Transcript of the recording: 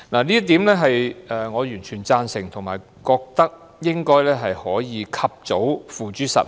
這點我完全贊同，並認為應該及早付諸實行。